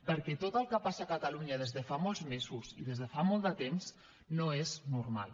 perquè tot el que passa a catalunya des de fa molts mesos i des de fa molt de temps no és normal